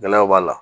Gɛlɛyaw b'a la